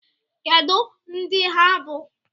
Kedu ndị ha bụ?